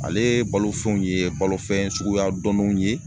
Ale balo fɛnw ye balofɛn suguya dɔnninw ye